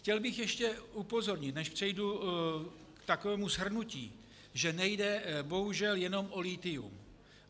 Chtěl bych ještě upozornit, než přejdu k takovému shrnutí, že nejde bohužel jenom o lithium.